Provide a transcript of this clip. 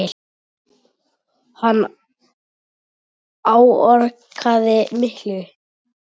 Hann áorkaði miklu.